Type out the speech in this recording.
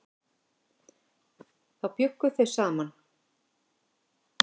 Þá bjuggu þau saman.